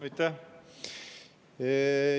Aitäh!